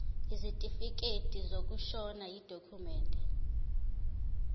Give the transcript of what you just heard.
isitifikedi sokushona yidokhumende